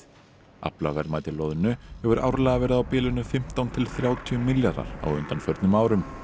aflaverðmæti loðnu hefur árlega verið á bilinu fimmtán til þrjátíu milljarðar á undanförnum árum